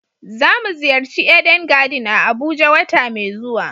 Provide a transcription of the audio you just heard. za mu ziyarci "Eden garden" a abuja wata mai zuwa.